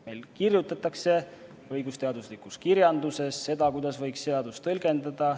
Meil kirjutatakse õigusteaduslikus kirjanduses, kuidas võiks seadust tõlgendada.